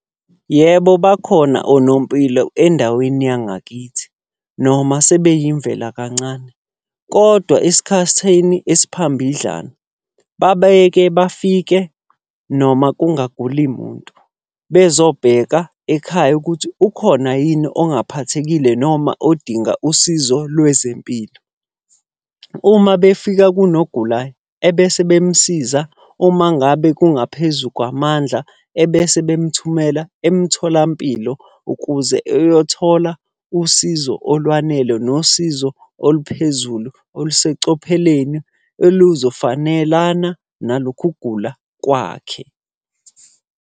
Yebo, bakhona onompilo endaweni yangakithi, noma sebeyimvela kancane. Kodwa esikhathini esiphambidlana babeyeke bafike noma kungaguli muntu bezobheka ekhaya ukuthi ukhona yini ongaphathekile, noma odinga usizo lwezempilo. Uma befika kunogulayo ebese bemsiza, uma ngabe kungaphezu kwamandla ebese bemthumela emtholampilo ukuze eyothola usizo olwanele nosizo oluphezulu, olusecopheleni oluzofanelana nalokhu kugula kwakhe.